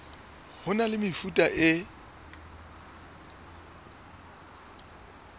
ho na le mefuta e